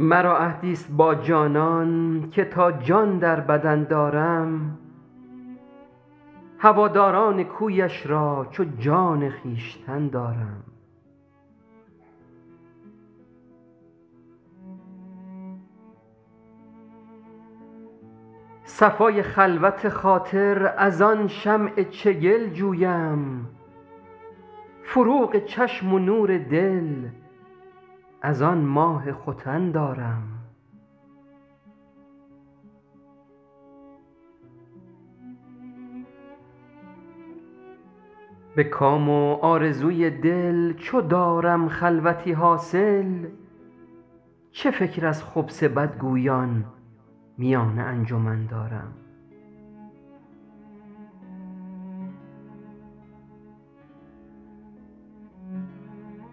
مرا عهدی ست با جانان که تا جان در بدن دارم هواداران کویش را چو جان خویشتن دارم صفای خلوت خاطر از آن شمع چگل جویم فروغ چشم و نور دل از آن ماه ختن دارم به کام و آرزوی دل چو دارم خلوتی حاصل چه فکر از خبث بدگویان میان انجمن دارم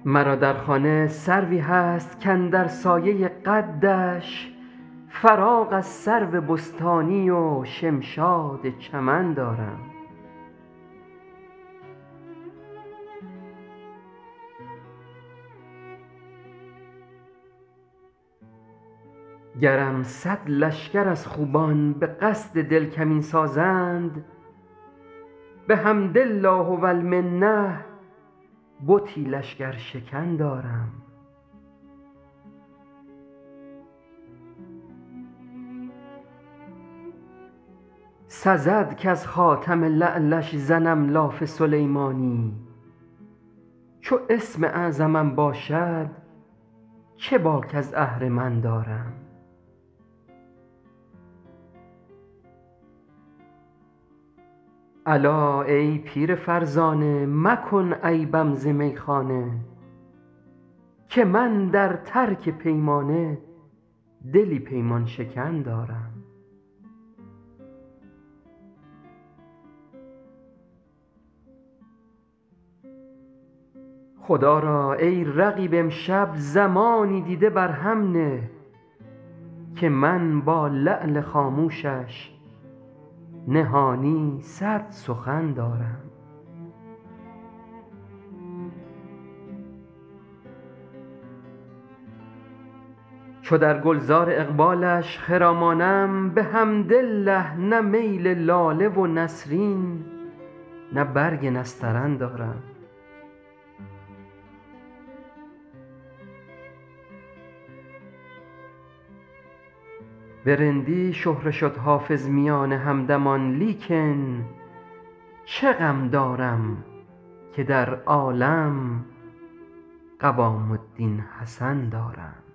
مرا در خانه سروی هست کاندر سایه قدش فراغ از سرو بستانی و شمشاد چمن دارم گرم صد لشکر از خوبان به قصد دل کمین سازند بحمد الله و المنه بتی لشکرشکن دارم سزد کز خاتم لعلش زنم لاف سلیمانی چو اسم اعظمم باشد چه باک از اهرمن دارم الا ای پیر فرزانه مکن عیبم ز میخانه که من در ترک پیمانه دلی پیمان شکن دارم خدا را ای رقیب امشب زمانی دیده بر هم نه که من با لعل خاموشش نهانی صد سخن دارم چو در گل زار اقبالش خرامانم بحمدالله نه میل لاله و نسرین نه برگ نسترن دارم به رندی شهره شد حافظ میان همدمان لیکن چه غم دارم که در عالم قوام الدین حسن دارم